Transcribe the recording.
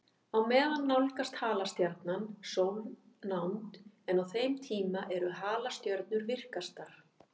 Á meðan nálgast halastjarnan sólnánd, en á þeim tíma eru halastjörnur virkastar.